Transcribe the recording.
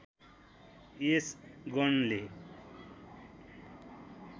यस गणले